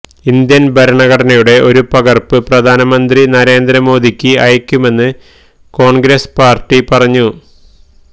Indian ഭരണഘടനയുടെ ഒരു പകർപ്പ് പ്രധാനമന്ത്രി നരേന്ദ്ര മോദിക്ക് അയക്കുമെന്ന് കോൺഗ്രസ് പാർട്ടി പറഞ്ഞു